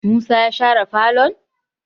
musa ya share falon?